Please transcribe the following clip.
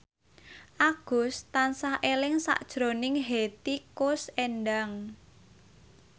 Agus tansah eling sakjroning Hetty Koes Endang